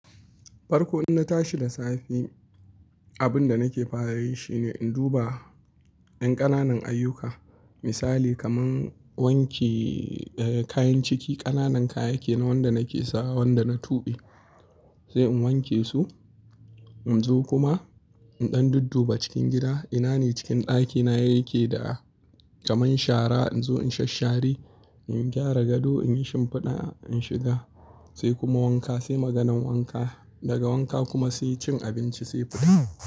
Farko in na tashi da safe, abin da nake fara yi shi ne in duba ƴan ƙananan ayyuka. Misali kaman wanke kayan ciki, ƙananan kaya ke na wanda nake sawa, wanda na tuɓe sai in wanke su. In zo kuma in ɗan dudduba cikin gida, ina ne cikin ɗakina ya ke da kamar shara in zo in shasshare, in gyara gado, in yi shimfiɗa, in shiga sai kuma wanka sai maganan wanka. Daga wanka kuma sai cin abinci sai fita.